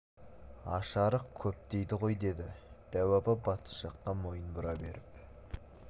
аш-арық көп дейді ғой деді дәу апа батыс жаққа мойын бұра беріп